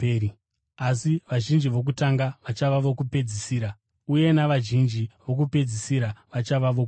Asi vazhinji vokutanga vachava vokupedzisira uye navazhinji vokupedzisira vachava vokutanga.